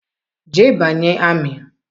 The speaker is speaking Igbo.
Jee banye amị!